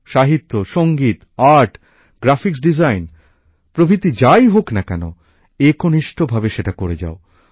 সাহিত্য সঙ্গীত art graphics design প্রভৃতি যাই হোক না কেন একনিষ্ঠ ভাবে সেটা করে যাও